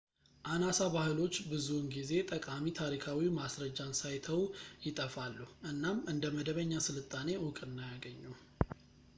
አናሳ ባህሎች ብዙውን ጊዜ ጠቃሚ ታሪካዊ ማስረጃን ሳይተዉ ይጠፋሉ እናም እንደ መደበኛ ሥልጣኔ ዕውቅና አያገኙም